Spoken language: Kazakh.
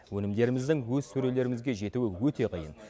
өнімдеріміздің өз сөрелерімізге жетуі өте қиын